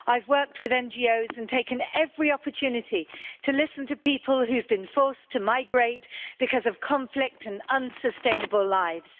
I've worked with NGOs and taken every opportunity to listen to people who have been forced to migrate because of conflict and unsustainable lives.